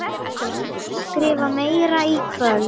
Ég skrifa meira í kvöld.